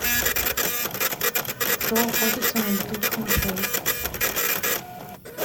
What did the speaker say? кто охотится на летучих мышей